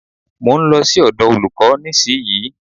Mo ń lọ sí ọ̀dọ̀ olúkò nísìyí.